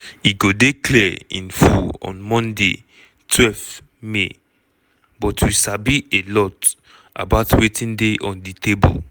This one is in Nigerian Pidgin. e go dey clear in full on monday twelve may but we sabi a lot about wetin dey on di table.